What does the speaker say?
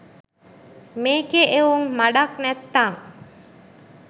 මේකේ එවුං මඩක් නැත්තං